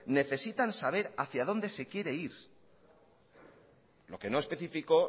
necesitan saber hacia donde se quiere ir lo que no especificó